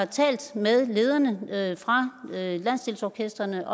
talt med lederne af landsdelsorkestrene